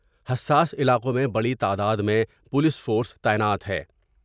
حساس علاقوں میں بڑی تعداد میں پولیس فورس تعینات ہے ۔